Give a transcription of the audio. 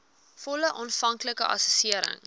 volle aanvanklike assessering